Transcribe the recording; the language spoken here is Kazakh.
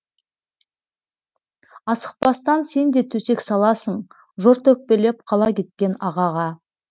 асықпастан сен де төсек саласың жорта өкпелеп қала кеткен ағаға